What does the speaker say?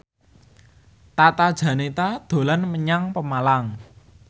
Tata Janeta dolan menyang Pemalang